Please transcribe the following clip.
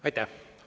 Aitäh!